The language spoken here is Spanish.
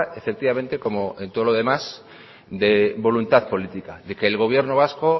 efectivamente como en todo lo demás de voluntad política de que el gobierno vasco